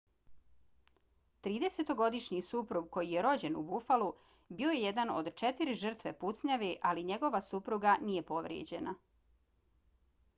tridesetogodišnji suprug koji je rođen u buffalu bio je jedan od četiri žrtve pucnjave ali njegova supruga nije povrijeđena